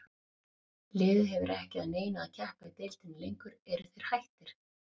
Liðið hefur ekki að neinu að keppa í deildinni lengur, eru þeir hættir?